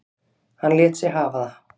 Hann lét sig hafa það.